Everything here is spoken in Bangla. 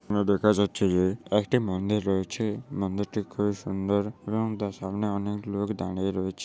এখানে দেখা যাচ্ছে যে একটি মন্দির রয়েছে মন্দিরটি খুব সুন্দর এবং তার সামনে অনেক লোক দাঁড়িয়ে রয়েছ।